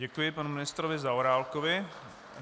Děkuji panu ministrovi Zaorálkovi.